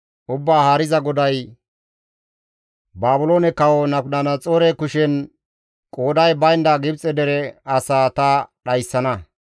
Ubbaa Haariza GODAY, «Baabiloone kawo Nabukadanaxoore kushen qooday baynda Gibxe dere asaa ta dhayssana.